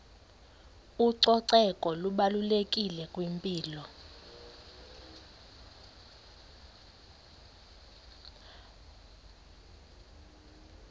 ucoceko lubalulekile kwimpilo